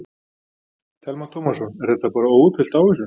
Telma Tómasson: Er þetta bara óútfyllt ávísun?